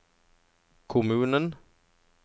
kommunen